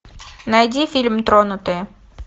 найди фильм тронутые